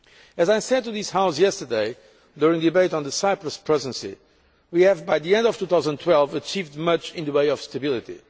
As I said to this House yesterday during the debate on the Cyprus Presidency, we have by the end of 2012 achieved much in the way of stability.